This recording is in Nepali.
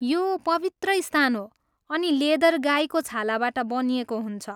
यो पवित्र स्थान हो अनि लेदर गाईको छालाबाट बनिएको हुन्छ।